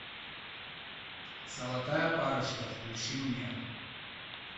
золотая парочка включи мне